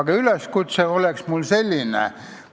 Aga üleskutse on mul selline.